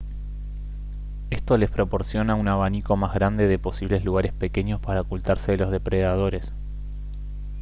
esto les proporciona un abanico más grande de posibles lugares pequeños para ocultarse de los depredadores